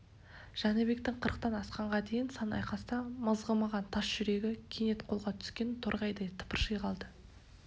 жәнібектің қырықтан асқанға дейін сан айқаста мызғымаған тас жүрегі кенет қолға түскен торғайдай тыпырши қалды